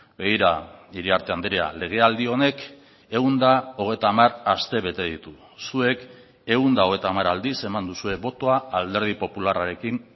begira iriarte andrea legealdi honek ehun eta hogeita hamar astebete ditu zuek ehun eta hogeita hamar aldiz eman duzue botoa alderdi popularrarekin